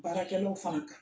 Baarakɛlaw fana ka